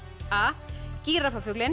a